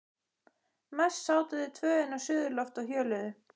Mest sátu þau tvö inni á suðurlofti og hjöluðu.